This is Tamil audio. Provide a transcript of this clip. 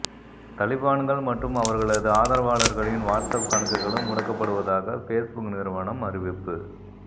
தலிபான்கள் மற்றும் அவர்களது ஆதரவாளர்களின் வாட்ஸ்அப் கணக்குகளும் முடக்கப்படுவதாக ஃபேஸ்புக் நிறுவனம் அறிவிப்பு